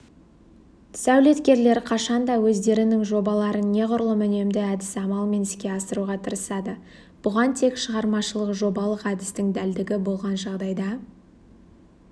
сәулеткерлер қашанда өздерінің жобаларын неғұрлым үнемді әдіс амалмен іске асыруға тырысады бұған тек шығармашылық жобалық әдістің дәлдігі болған жағдайда